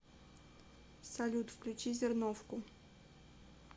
салют включи зерновку